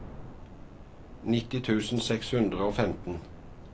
nitti tusen seks hundre og femten